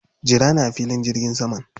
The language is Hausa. Jira ni a filin jirgin saman.